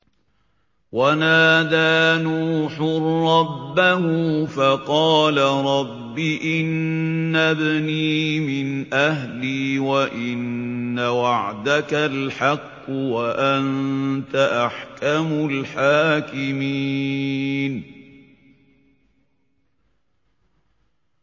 وَنَادَىٰ نُوحٌ رَّبَّهُ فَقَالَ رَبِّ إِنَّ ابْنِي مِنْ أَهْلِي وَإِنَّ وَعْدَكَ الْحَقُّ وَأَنتَ أَحْكَمُ الْحَاكِمِينَ